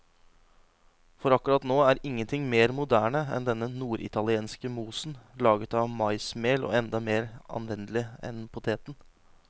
For akkurat nå er ingenting mer moderne enn denne norditalienske mosen, laget av maismel og enda mer anvendelig enn poteten.